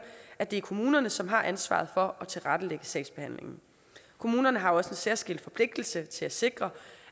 at det er kommunerne som har ansvaret for at tilrettelægge sagsbehandlingen kommunerne har også en særskilt forpligtelse til at sikre